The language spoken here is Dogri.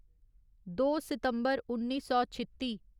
दो सितम्बर उन्नी सौ छित्ती